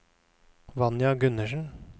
Vanja Gundersen